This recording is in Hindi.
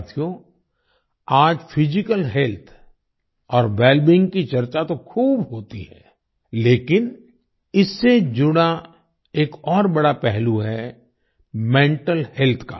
साथियो आज फिजिकल हेल्थ और वेलबीइंग की चर्चा तो खूब होती है लेकिन इससे जुड़ा एक और बड़ा पहलू है मेंटल हेल्थ का